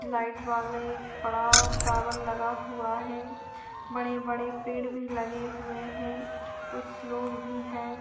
Light वाले एक बड़ा टॉवल लगा हुआ है बड़े-बड़े पेड़ भी लगे हुए है कुछ लोग भी है।